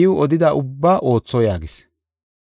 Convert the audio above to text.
iw odida ubbaa ootho” yaagis.